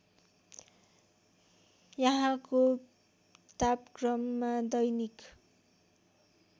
यहाँको तापक्रममा दैनिक